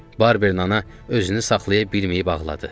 Barberin ana özünü saxlaya bilməyib ağladı.